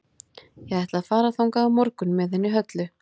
Ég ætla að fara þangað á morgun með henni Höllu.